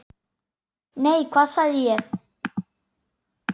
Nei, hvað sé ég!